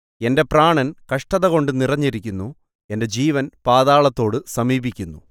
എന്റെ പ്രാണൻ കഷ്ടതകൊണ്ട് നിറഞ്ഞിരിക്കുന്നു എന്റെ ജീവൻ പാതാളത്തോട് സമീപിക്കുന്നു